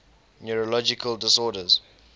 neurological disorders